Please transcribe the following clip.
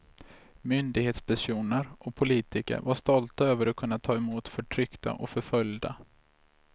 Myndighetspersoner och politiker var stolta över att kunna ta emot förtryckta och förföljda.